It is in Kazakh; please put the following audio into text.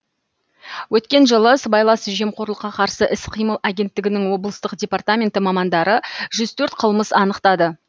өткен жылы сыбайлас жемқорлыққа қарсы іс қимыл агенттігінің облыстық департаменті мамандары жүз төрт қылмыс анықтады